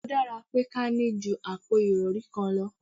O dára pé kí a ní ju àpò ìrọri kan lọ